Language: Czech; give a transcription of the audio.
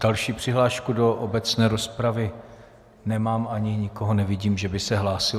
Další přihlášku do obecné rozpravy nemám ani nikoho nevidím, že by se hlásil.